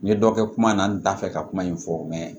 N ye dɔ kɛ kuma na n t'a fɛ ka kuma in fɔ mɛ